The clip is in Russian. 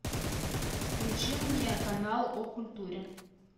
включи мне канал о культуре